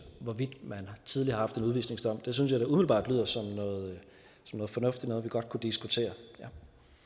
hvorvidt man tidligere har fået en udvisningsdom synes jeg da umiddelbart lyder som noget fornuftigt noget vi godt kunne diskutere ja